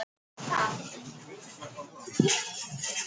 Við erum æðislega efnilegir veiðimenn sagði Tóti og geispaði.